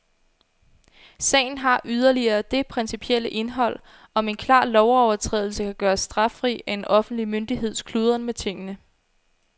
Sagen har yderligere det principielle indhold, om en klar lovovertrædelse kan gøres straffri af en offentlig myndigheds kludren med tingene.